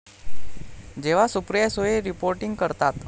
जेव्हा सुप्रिया सुळे रिपोर्टिंग करतात...